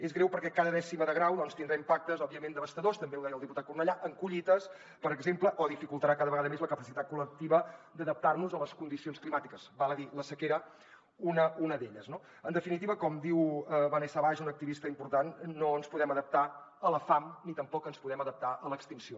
és greu perquè cada dècima de grau doncs tindrà impactes òbviament devastadors també ho deia el diputat cornellà en collites per exemple o dificultarà cada vegada més la capacitat col·lectiva d’adaptar nos a les condicions climàtiques val a dir la sequera una d’elles no en definitiva com diu vanessa vash una activista important no ens podem adaptar a la fam ni tampoc ens podem adaptar a l’extinció